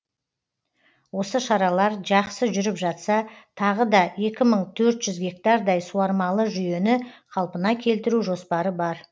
осы шаралар жақсы жүріп жатса тағы да екі мың төрт жүз гектардай суармалы жүйені қалпына келтіру жоспары бар